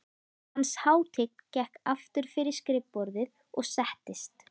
Hans hátign gekk aftur fyrir skrifborðið og settist.